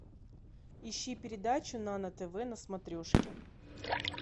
ищи передачу нано тв на смотрешке